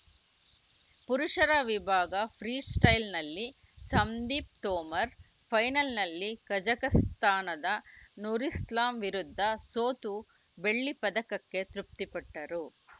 ಪುರುಷರ ವಿಭಾಗದ ಫ್ರೀಸ್ಟೈಲ್‌ನಲ್ಲಿ ಸಂದೀಪ್‌ ತೋಮರ್‌ ಫೈನಲ್‌ನಲ್ಲಿ ಕಜಕಸ್ತಾನದ ನುರಿಸ್ಲಾಮ್‌ ವಿರುದ್ಧ ಸೋತು ಬೆಳ್ಳಿ ಪದಕಕ್ಕೆ ತೃಪ್ತಿಪಟ್ಟರು